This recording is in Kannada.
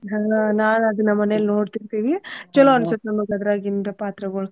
ಹಾ ನಾನ್ ಅದನ್ನ ಮನೇಲಿ ನೋಡ್ತಿರ್ತೆವಿ ಚೊಲೋ ಅನ್ಸುತ್ತ್ ನಮಗ ಅದ್ರಾಗಿಂದ್ ಪಾತ್ರಗಳು.